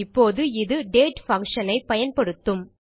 இப்போது இது டேட் functionஐ பயன்படுத்தும்